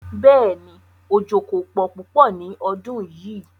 Bẹ́ẹ̀ni, ojó kò pọ̀ púpọ̀ ní ọdún yíì.